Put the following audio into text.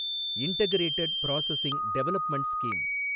integrated processing development scheme